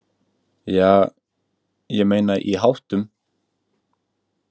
Ja, ég meina í háttum.